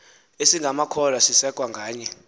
esingamakholwa sisekwe ngaye